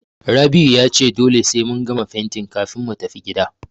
Rabi'u ya ce dole sai mun gama fentin kafin mu tafi gida.